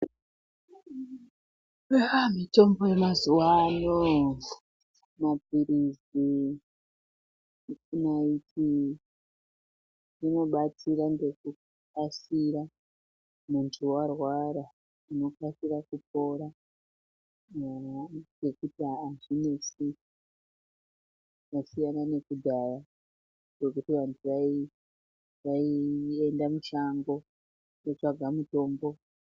Mitombo yemazuwano mapilizi, naiti zvinodetsera ngekukasira muntu warwara unokasira kupora ngekuti azvinesi. Zvasiyana nekudhaya kwekuti vantu vaienda mushango kotsvaga mutombo.